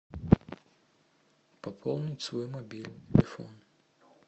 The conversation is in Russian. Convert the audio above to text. пополнить свой мобильный телефон